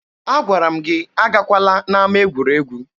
Agwara m gị agakwala n'ama egwuregwu!